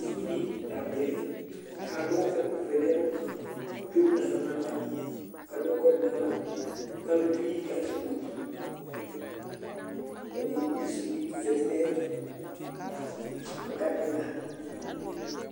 uvi di la vlɛ ku adu ɛku vɛ nu ɛlu, ku emu nu aɣla nu ava, ku adu ɛkʋɛdi nu aɣla, ku alu keli ku azɛ kpoti, edigbo sili bi zati nu ayɛtu ku ɔka tɛ ɛga